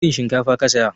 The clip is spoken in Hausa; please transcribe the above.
Wana irin shinkafa ka saya?